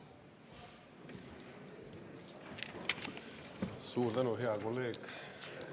Suur tänu, hea kolleeg!